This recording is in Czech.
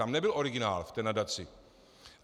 Tam nebyl originál v té nadaci.